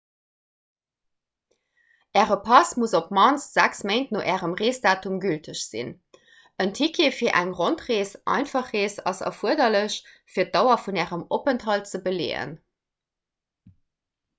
äre pass muss op d'mannst 6 méint no ärem reesdatum gülteg sinn. en ticket fir eng rondrees/einfach rees ass erfuerderlech fir d'dauer vun ärem openthalt ze beleeën